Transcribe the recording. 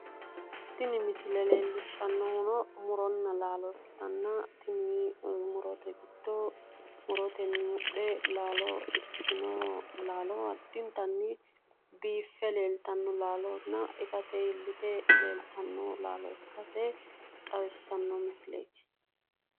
Tini misile leellishshannohuno muronna laalo ikkitanna tini murote giddo murotenni mudhe laalo ikkitino laalo addintanni biiffe leeltanno laalonna itate iillite leeltanno laalo ikkase xawissanno misileeti.